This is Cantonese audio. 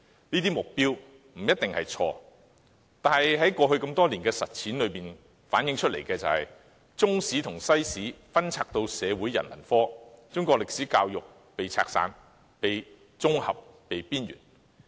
這些目標不一定錯誤，但過去多年的實踐反映，中史和西史被納入社會科後，中史教育更被拆散、綜合和邊緣化。